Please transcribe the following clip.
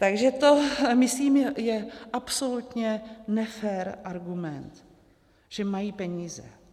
Takže to je, myslím, absolutně nefér argument, že mají peníze.